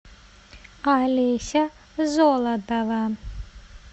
алеся золотова